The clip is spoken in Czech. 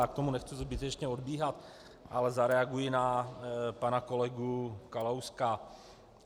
Já od toho nechci zbytečně odbíhat, ale zareaguji na pana kolegu Kalouska.